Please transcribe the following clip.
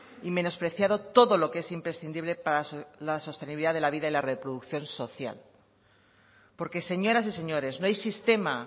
y menospreciado todo lo que es imprescindible para la sostenibilidad de la vida y la reproducción social porque señoras y señores no hay sistema